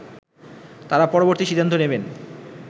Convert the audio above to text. তারা পরবর্তী সিদ্ধান্ত নেবেন